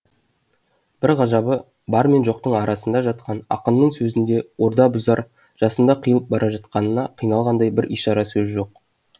бір ғажабы бар мен жоқтың арасында жатқан ақынның сөзінде орда бұзар жасында қиылып бара жатқанына қиналғандай бір ишара сөз жоқ